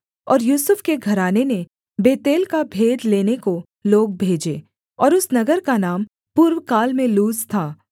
और यूसुफ के घराने ने बेतेल का भेद लेने को लोग भेजे और उस नगर का नाम पूर्वकाल में लूज था